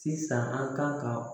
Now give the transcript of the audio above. Sisan an kan ka